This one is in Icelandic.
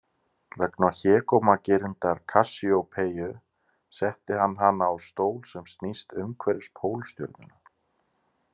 Vegna hégómagirndar Kassíópeiu setti hann hana á stól sem snýst umhverfis Pólstjörnuna.